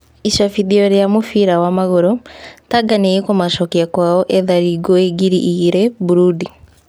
(Icambĩtio rĩa mũbira wa magũrũ) Tanga nĩ ĩkũmacokia kwao ethari ngũĩ ngiri igĩrĩ Mburundi?